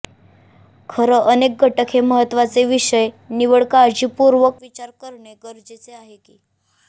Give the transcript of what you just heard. खरं अनेक घटक हे महत्त्वाचे विषय निवड काळजीपूर्वक विचार करणे गरजेचे आहे की